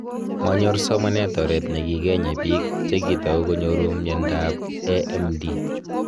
manyor somanet oret nekikenya biik che kitau konyoru myanta b AMD